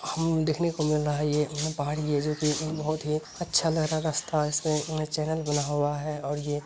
हम देखने को मिल रहा है ये पहाड़ जो बहुत ही अच्छा रस्ता और ये --